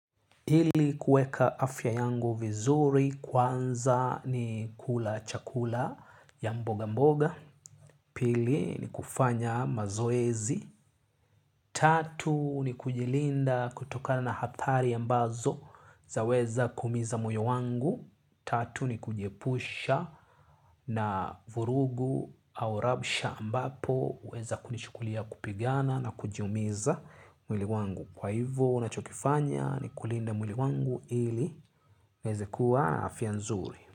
Ili kueka afya yangu vizuri kwanza ni kula chakula ya mboga mboga. Pili ni kufanya mazoezi. Tatu ni kujilinda kutoka na hatari ambazo zaweza kuumiza moyo wangu. Tatu ni kujiepusha na vurugu au rabsha ambapo huweza kunishukulia kupigana na kujumiza mwili wangu. Kwa hivyo unachokifanya ni kulinda mwili wangu ili niweze kuwa afya nzuri.